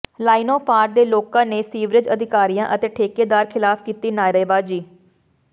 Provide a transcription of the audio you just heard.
ਲਾਈਨੋਂ ਪਾਰ ਦੇ ਲੋਕਾਂ ਨੇ ਸੀਵਰੇਜ ਅਧਿਕਾਰੀਆਂ ਅਤੇ ਠੇਕੇਦਾਰ ਖਿਲਾਫ ਕੀਤੀ ਨਾਅਰੇਬਾਜ਼ੀ